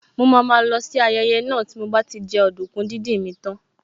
Mo máa má lọ sí ayẹyẹ náà tí mo bá ti jẹ ọdùkún díndín mi tán